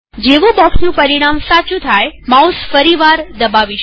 જેવું બોક્ષનું પરિમાણ સાચું થાયમાઉસ ફરીવાર દબાવીશું